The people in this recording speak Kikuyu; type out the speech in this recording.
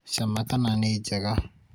cama kana nĩ njega